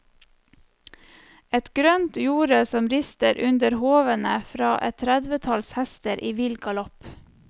Et grønt jorde som rister under hovene fra et tredvetalls hester i vill galopp.